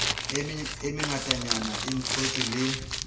e mengatanyana e thontshe le